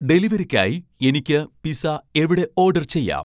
ഡെലിവറിക്കായി എനിക്ക് പിസ്സ എവിടെ ഓഡർ ചെയ്യാം